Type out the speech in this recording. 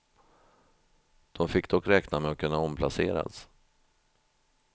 De fick dock räkna med att kunna omplaceras.